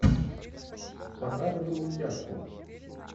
показывай мультяшку